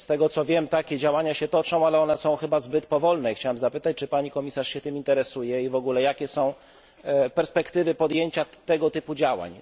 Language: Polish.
Z tego, co wiem, takie działania się toczą, ale są chyba zbyt powolne i chciałem zapytać, czy pani komisarz się tym interesuje i w ogóle jakie są perspektywy podjęcia tego typu działań.